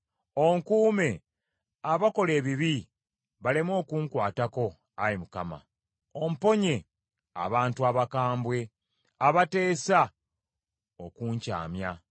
Onkuume abakola ebibi baleme okunkwatako, Ayi Mukama ; omponye abantu abakambwe abateesa okunkyamya.